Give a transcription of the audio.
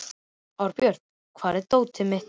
Árbjört, hvar er dótið mitt?